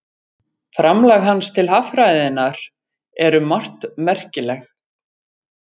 Framlag hans til haffræðinnar er um margt merkilegt.